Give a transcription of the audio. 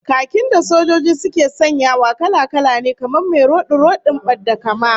Khakin da sojoji suke sanyawa kala-kala ne, kamar mai rodi-rodin badda-kama